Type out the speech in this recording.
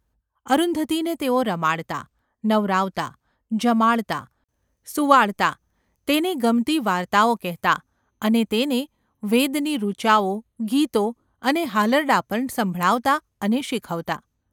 અરુંધતીને તેઓ રમાડતા, નવરાવતા, જમાડતા, સુવાડતા; તેને ગમતી વાર્તાઓ કહેતા અને તેને વેદની ઋચાઓ, ગીતો અને હાલરડાં પણ સંભળાવતા અને શીખવતા.